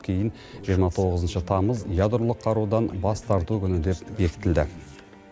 кейін жиырма тоғызыншы тамыз ядролық қарудан бас тарту күні деп бекітілді